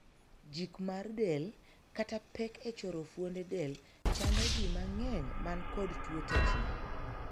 Jik mar del, kata pek e choro fuonde del, chando jii mang'eny man kod tuo tetni.